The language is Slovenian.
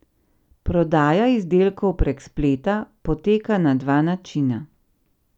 Prodaja izdelkov prek spleta poteka na dva načina.